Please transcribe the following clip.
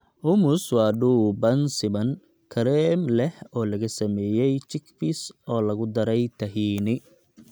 Hummus waa dhuuban siman, kareem leh oo laga sameeyay chickpeas oo lagu daray tahini.